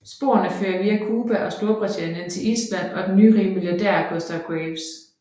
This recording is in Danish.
Sporene fører via Cuba og Storbritannien til Island og den nyrige milliardær Gustav Graves